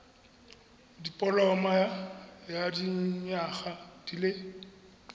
dipoloma ya dinyaga di le